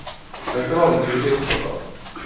Dette var hun tydelig opptatt av.